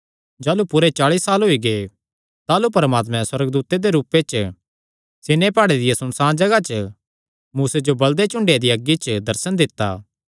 जाह़लू पूरे चाल़ी साल होई गै ताह़लू परमात्मे सुअर्गदूत दे रूपे च सीनै प्हाड़े दिया सुनसाण जगाह च मूसे जो बल़दे झुड़ेयां दिया अग्गी च दर्शन दित्ता